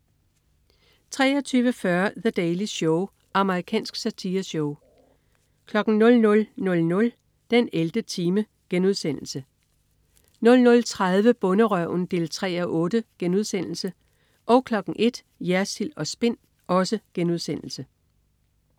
23.40 The Daily Show. Amerikansk satireshow 00.00 den 11. time* 00.30 Bonderøven 3:8* 01.00 Jersild & Spin*